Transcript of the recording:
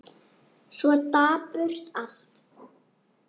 Svo dapurt allt.